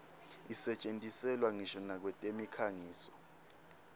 isetjentiselwa ngisho nakwetemikhangiso